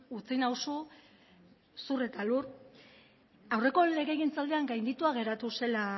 utzi nauzu zur eta lur aurreko legegintzaldian gainditua geratu zela